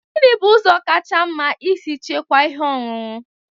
Gini bu ụzọ kacha mma isi chekwaa ihe ọṅụṅụ?